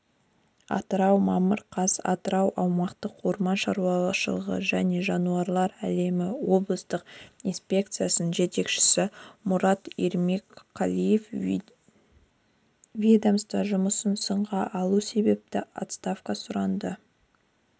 атырау мамыр қаз атырау аумақтық орман шаруашылығыжәне жануарлар әлемі облыстық инспекциясының жетекшісі мұрат ермекқалиев ведомство жұмысын сынға алу себепті отставкаға сұранды